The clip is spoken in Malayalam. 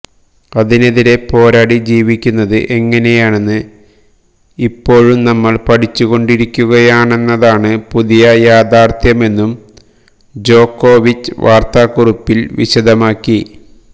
അതിനെതിരേ പോരാടി ജീവിക്കുന്നത് എങ്ങനെയെന്ന് ഇപ്പോഴും നമ്മള് പഠിച്ചുകൊണ്ടിരിക്കുകയാണെന്നതാണ് പുതിയ യാഥാര്ഥ്യമെന്നും ജോകോവിച്ച് വാര്ത്താക്കുറിപ്പില് വിശദമാക്കി